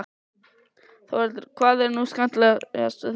Þórhildur: Hvað er nú skemmtilegast við þetta?